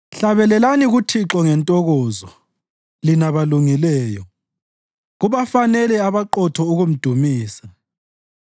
Hlabelelani kuThixo ngentokozo, lina balungileyo; kubafanele abaqotho ukumdumisa.